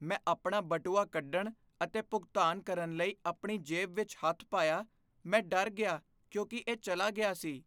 ਮੈਂ ਆਪਣਾ ਬਟੂਆ ਕੱਢਣ ਅਤੇ ਭੁਗਤਾਨ ਕਰਨ ਲਈ ਆਪਣੀ ਜੇਬ ਵਿੱਚ ਹੱਥ ਪਾਇਆ। ਮੈਂ ਡਰ ਗਿਆ ਕਿਉਂਕਿ ਇਹ ਚਲਾ ਗਿਆ ਸੀ!